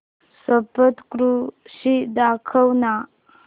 सप्तशृंगी दाखव ना